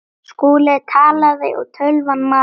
Skúli talaði og tölvan malaði.